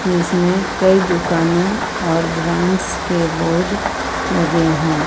जिसमें कई दुकानों और ब्रांड्स के बोर्ड लगे हैं।